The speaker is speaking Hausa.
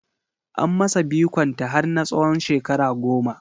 An masa bikon ta har na tsawon shekara goma